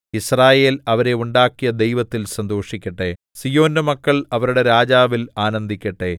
യിസ്രായേൽ അവരെ ഉണ്ടാക്കിയ ദൈവത്തിൽ സന്തോഷിക്കട്ടെ സീയോന്റെ മക്കൾ അവരുടെ രാജാവിൽ ആനന്ദിക്കട്ടെ